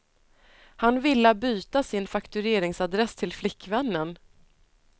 Han villa byta sin faktureringsadress till flickvännen.